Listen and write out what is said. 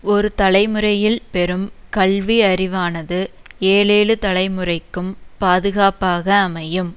ஒரு தலைமுறையில் பெறும் கல்வி அறிவானது ஏழேழு தலைமுறைக்கும் பாதுகாப்பாக அமையும்